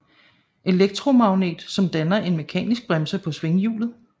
Elektromagnet som danner en mekanisk bremse på svinghjulet